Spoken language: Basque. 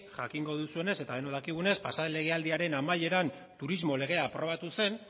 jakingo duzuenez eta denok dakigunez pasa den legealdiaren amaieran turismo legea aprobatu zen